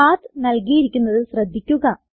പത്ത് നൽകിയിരിക്കുന്നത് ശ്രദ്ധിക്കുക